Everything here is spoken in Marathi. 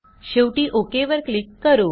शेवटी ओक वर क्लिक करू